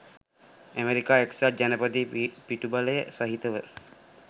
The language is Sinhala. අමෙරිකා එක්සත් ජනපදයේ පිටුබලය සහිතව